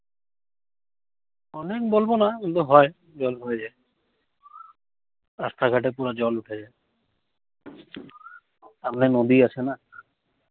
অনেক বলবো না। কিন্তু হয়, জল হয়ে যায়। রাস্তাঘাটে পুরা জল উঠে যায়। সামনে নদী আছে না।